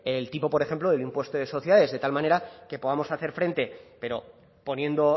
el tipo por ejemplo del impuesto de sociedades de tal manera que podamos hacer frente pero poniendo